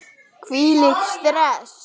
Hvílíkt stress!